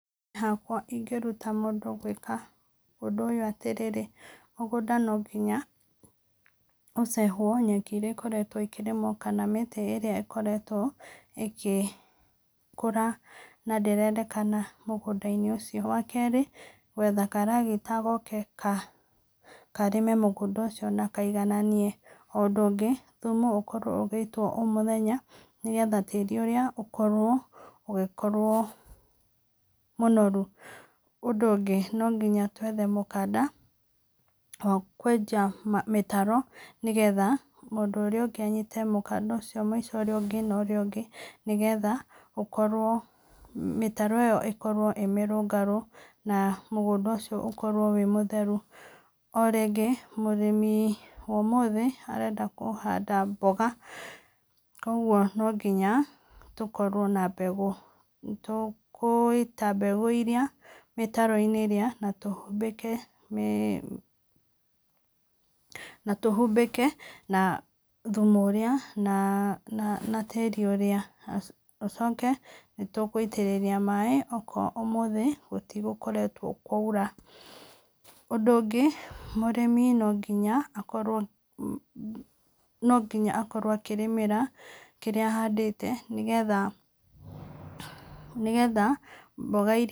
Niĩ hakwa ingĩruta mũndũ gwĩka ũndũ atĩrĩrĩ mũgũnda no nginya ũcehwo nyeki ĩrĩa ĩkoretwo ĩkĩrĩmwo kana mĩtĩ ĩrĩa ĩkoretwo ĩgĩkũra na ndĩrendekana mũgũnda-inĩ ũcio, wa kerĩ, gwetha karagita gokr karĩme mũgũnda ũcio na kaigananie, ũndũ ũngĩ thumu no ũkorwo ũgĩitwo o mũthenya nĩgetha tĩri ũrĩa ũkorwo, ũkorwo wĩ mũnoru, ũndũ ũngĩ no nginya twethe mũkanda wa kwenja mũtaro nĩgetha mũndũ ũrĩa ũngĩ anyite mũkanda ũcio mũico ũrĩa ũngĩ na ũrĩa ũngĩ nĩgetha, mĩtaro ĩyo ĩkorwo ĩ mĩrũngarũ na mũgũnda ũcio ũkorwo wĩ mũtheru. O rĩngĩ mũrĩmi wa ũmũthĩ arenda kũhanda mboga ũguo no nginya tũkorwo ma mbegũ, tũgũita mbegũ iria mĩtaro-inĩ iria na tũhumbĩke, na tũhumbĩke thumu ũrĩa na tĩri ũria, ũcoke nĩ tũgũitĩrĩria maĩ angĩkorwo ũmũthĩ gũtigũkoretwo kwa ura, ũndũ ũngĩ mũrĩmi no nginya akorwo akĩrĩmĩra kĩrĩa ahandĩte nĩgetha, nĩgetha mboga iria